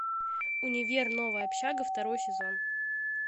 универ новая общага второй сезон